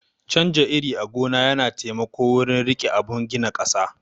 Canja iri a gona yana taimako wurin rike abun gina ƙasa